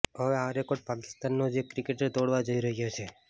હવે આ રેકોર્ડ પાકિસ્તાનનો જ એક ક્રિકેટર તોડવા જઈ રહ્યો છે